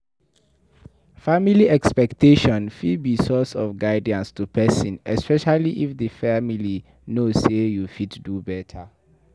Family expectation fit be source of guidance to person especially if di family know sey you fit do better